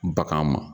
Bagan ma